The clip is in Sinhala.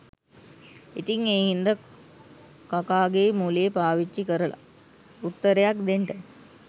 ඉතිං ඒ හින්දා කකාගේ මොලේ පාවිච්චි කරලා උත්තරයක්‌ දෙන්ට